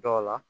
Dɔw la